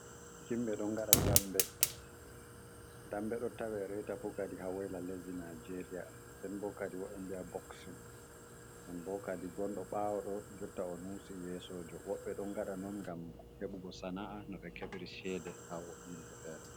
Himɓe ɗon ngaɗa dambe, dambe ɗo tawe reta fu kadi haa Woyla lesdi Najeeriya. Nden bo kadi woɓɓe biya boksin, non bo kadi gonɗo ɓaawo ɗo jotta o nawsi yeesojo. Woɓɓe ɗon ngaɗa non ngam heɓugo sana'a no ɓe keɓra ceede haa yimɓe feere.